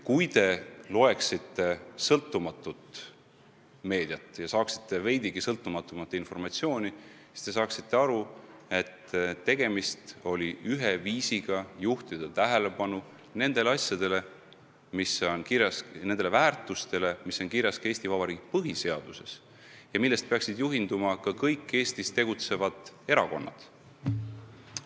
Kui te loeksite sõltumatut meediat ja saaksite veidigi sõltumatumat informatsiooni, siis saaksite aru, et tegemist oli ühe viisiga juhtida tähelepanu nendele väärtustele, mis on kirjas ka Eesti Vabariigi põhiseaduses ja millest peaksid juhinduma ka kõik Eestis tegutsevad erakonnad.